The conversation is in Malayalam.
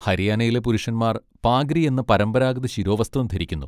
ഹരിയാനയിലെ പുരുഷന്മാർ പാഗ്രി എന്ന പരമ്പരാഗത ശിരോവസ്ത്രം ധരിക്കുന്നു.